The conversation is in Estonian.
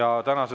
Kõike head!